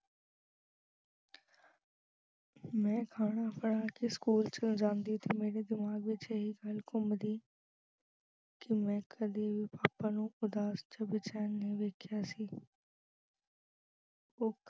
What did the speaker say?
ਮੈਂ ਖਾਣਾ ਫੜਾ ਕੇ school ਚ ਜਾਂਦੀ ਤਾਂ ਮੇਰੇ ਦਿਮਾਗ ਵਿੱਚ ਇਹੀ ਖਿਆਲ ਘੁੰਮਦਾ ਕਿ ਮੈਂ ਕਦੀ ਵੀ papa ਨੂੰ ਉਦਾਸ ਤੇ ਬੇਚੈਨ ਨਹੀਂ ਵੇਖਿਆ ਸੀ ਉਹ